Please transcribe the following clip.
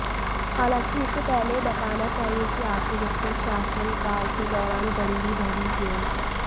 हालांकि उसे पहले यह बताना चाहिए कि आखिर उसके शासनकाल के दौरान गरीबी बढ़ी क्यों